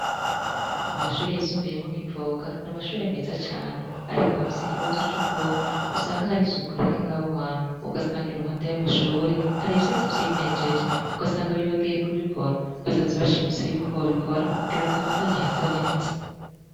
Mu mashure yisumbiyemo kivoga n' amashure meza cane, ariko bafise ikibazo c'ukuntu usanga hari suku rike ngabuhantu ugasanga i ruhande y'amashure hari ivyoatsi vyimenjeje ugasanga bibagiye kubikora basavzi bashimise yuko bobikora kugira ngo habandanye hasa neta.